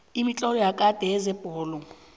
imitlolo yakade yezebholo